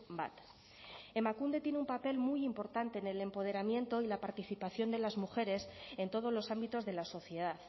bat emakunde tiene un papel muy importante en el empoderamiento y la participación de las mujeres en todos los ámbitos de la sociedad